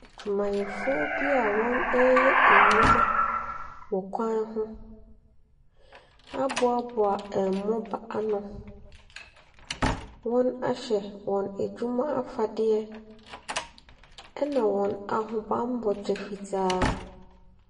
Adwumayɛfo bi wɔreyɛ nnuwuma wɔ kwn ho aboaboa mmoba ano. Wɔahyɛ wɔn adwuma afadeɛ. Ɛna wɔn ahobanmmɔ kyɛ fitaa.